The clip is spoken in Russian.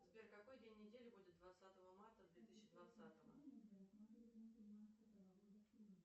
сбер какой день недели будет двадцатого марта две тысячи двадцатого